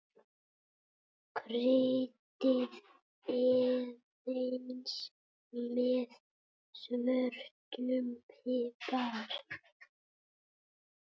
Kryddið aðeins með svörtum pipar.